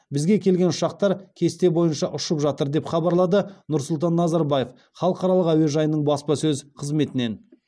бізге келген ұшақтар кесте бойынша ұшып жатыр деп хабарлады нұрсұлтан назарбаев халықаралық әуежайының баспасөз қызметінен